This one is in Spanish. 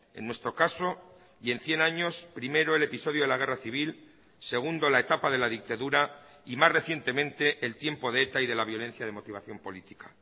en nuestro caso y en cien años primero el episodio de la guerra civil segundo la etapa de la dictadura y más recientemente el tiempo de eta y de la violencia de motivación política